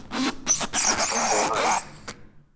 Á hvaða hæð?